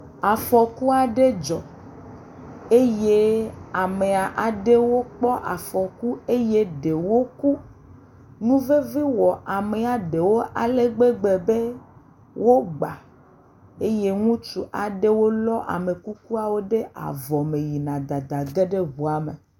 Afɔku aɖe dzɔ eye amea aɖewo kpɔ afɔku eye ɖewo ku. Nuvevi wɔ amea ɖewo ale gbegb be wo gba eye ŋutsu aɖewo lɔ amekukuawo ɖe avɔ me yina dadage ɖe ŋua me.